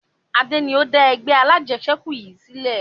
Adé ni ó dá ẹgbẹ́ alajẹsẹ́kù yìí sílẹ̀